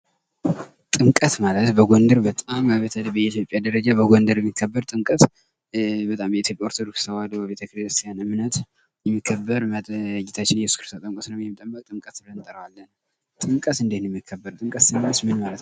ጥምቀት ማለት በጎንደር በጣም በኢትዮጵያ ደረጃ በጎንደር የሚከበር ጥምቀት በጣም የኢትዮጵያ ኦርቶዶክስ ተዋህዶ እምነት የሚከበር ጌታችን እየሱስ ክርስቶስ ተጠምቆ ስለነበር ጥምቀት ብለን እንጠራዋለን:: ጥምቀት እንዴት ነው የሚከበር? ጥምቀት ስንልስ ምን ማለታችን ነው?